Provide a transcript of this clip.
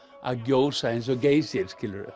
að gjósa eins og Geysir